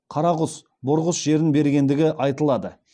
қарағұс бұрғыс жерін бергендігі айтылады